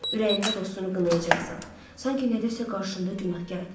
Ürəyində dostunu qınayacaqsan, sanki nədəsə qarşında günahkardır.